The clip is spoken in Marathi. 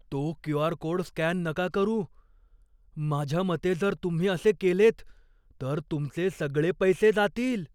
तो क्यू. आर. कोड स्कॅन नका करू. माझ्या मते जर तुम्ही असे केलेत तर तुमचे सगळे पैसे जातील.